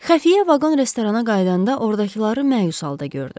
Xəfiyə vaqon restorana qayıdanda ordakıları məyus halda gördü.